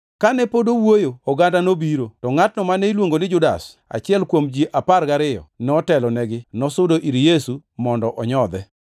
Kane pod owuoyo, oganda nobiro, to ngʼatno mane iluongo ni Judas, achiel kuom ji apar gariyo, notelonegi, nosudo ir Yesu mondo onyodhe,